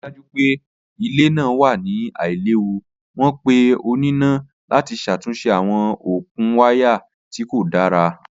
Lati rii daju pe ile naa wa ni ailewu, wọn pe onina lati ṣatunṣe awọn okun waya ti ko da.